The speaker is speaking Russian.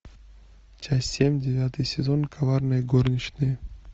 часть семь девятый сезон коварные горничные